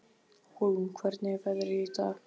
Hólm, hvernig er veðrið í dag?